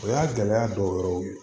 O y'a gɛlɛya dɔw yɛrɛw ye